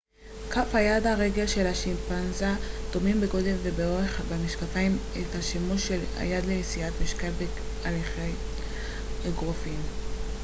כף היד והרגל של השימפנזה דומים בגודל ובאורך ומשקפים את השימוש של היד לנשיאת משקל בהליכת אגרופים